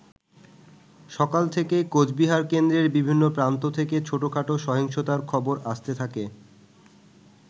সকাল থেকেই কোচবিহার কেন্দ্রের বিভিন্ন প্রান্ত থেকে ছোটখাটো সহিংসতার খবর আসতে থাকে।